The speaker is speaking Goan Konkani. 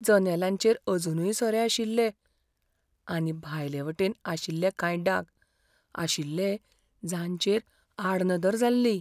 जनेलांचेर अजूनय सोरे आशिल्ले, आनी भायलेयवटेन आशिल्ले कांय डाग आशिल्ले जांचेर आडनदर जाल्ली.